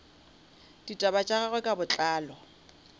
ditaba tša gagwe ka botlalo